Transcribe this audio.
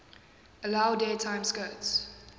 allowed daytime skirts